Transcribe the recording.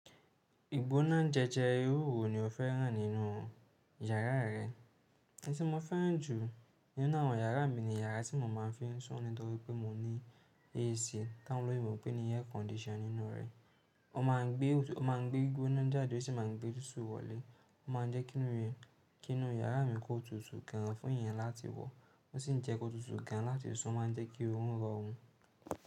Ìgbóná jẹjẹ irúwo ni o fẹ́ràn nínú yàrá rẹ. Ẹni tí mo fẹ́ràn jù nínú àwọn yàrá mi ni yàrá tí mo máa ń fi sùn nítorí pé mo ní AC táwọn ló mọ̀ pé ni air condition nínú rẹ̀. O máa ń gbé ìgbóná jáde ó sì máa ń gbé tútù wọlé, o máa ń jẹ́kí inú yàrá mi kó tutù gan fún èèyàn láti wọ̀ ó sì ń jẹ́ kó tutù gan láti sùn máa ń jẹ́ kí orun rọrùn.